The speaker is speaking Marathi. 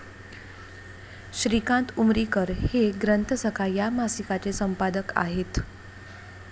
श्रीकांत उमरीकर हे 'ग्रंथसखा' या मासिकाचे संपादक आहेत.